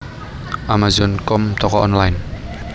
Amazon com toko online